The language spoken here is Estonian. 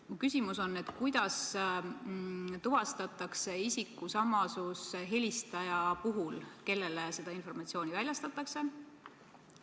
Mu küsimus on järgmine: kuidas tuvastatakse isiku samasus helistaja puhul, kellele seda informatsiooni väljastatakse?